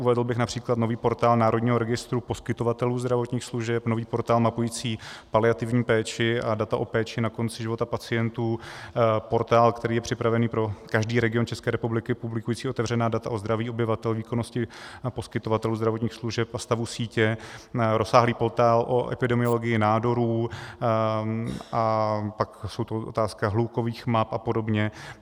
Uvedl bych například nový portál Národního registru poskytovatelů zdravotních služeb, nový portál mapující paliativní péči a data o péči na konci života pacientů, portál, který je připravený pro každý region České republiky publikující otevřená data o zdraví obyvatel, výkonnosti poskytovatelů zdravotních služeb a stavu sítě, rozsáhlý portál o epidemiologii nádorů, a pak jsou to otázky hlukových map a podobně.